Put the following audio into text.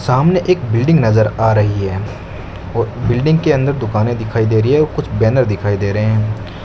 सामने एक बिल्डिंग नजर आ रही है व बिल्डिंग के अंदर दुकाने दिखाई दे रही है कुछ बैनर दिखाई दे रहे हैं।